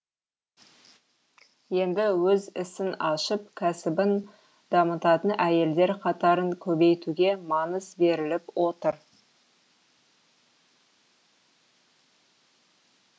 енді өз ісін ашып кәсібін дамытатын әйелдер қатарын көбейтуге маңыз беріліп отыр